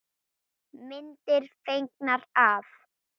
Myndir fengnar af